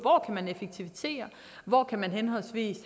hvor man henholdsvis